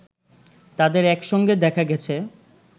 তাদের একসঙ্গে দেখা গেছে